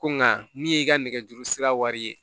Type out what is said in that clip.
Ko nka min ye i ka nɛgɛjuru sira wari ye